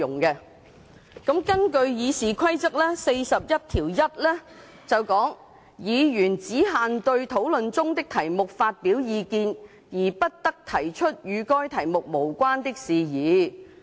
根據《議事規則》第411條，"議員只限對討論中的題目發表意見，而不得提出與該題目無關的事宜"。